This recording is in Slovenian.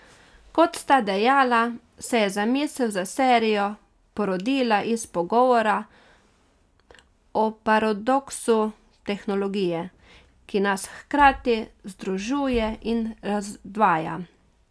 Kot sta dejala, se je zamisel za serijo porodila iz pogovora o paradoksu tehnologije, ki nas hkrati združuje in razdvaja.